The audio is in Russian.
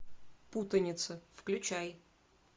путаница включай